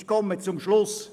Ich komme zum Schluss: